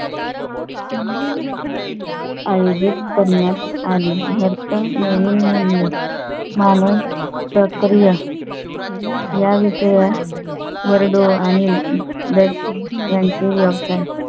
आयोजित करण्यात आली नवीन मूल्य मानून प्रक्रिया याविषयी वरडोह आणि यांचे व्यवसाय